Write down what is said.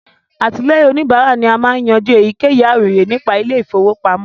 Àtìlẹ́yìn òníbárà máa ń yanjú èyíkéyìí àròyé nípa ilé ìfọwọ́pamọ́